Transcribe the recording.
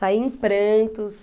Saí em prantos.